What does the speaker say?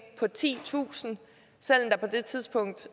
på titusind selv om der på det tidspunkt